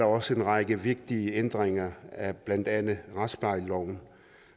også en række vigtige ændringer af blandt andet retsplejeloven